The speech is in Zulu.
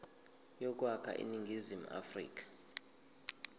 yokwakha iningizimu afrika